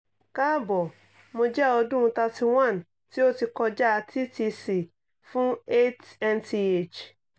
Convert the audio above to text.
kaabọ̀ mo jẹ ọdun thirt one ti o ti kọja ttc fun eight months